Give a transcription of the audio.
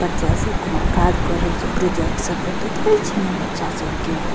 बच्चा सब कउनो काज क रहल छै प्रोजेक्ट सब भेटत रहे छै ना बच्चा सब के --